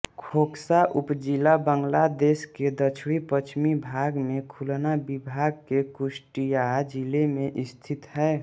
खोकसा उपजिला बांग्लादेश के दक्षिणपश्चिमी भाग में खुलना विभाग के कुष्टिय़ा जिले में स्थित है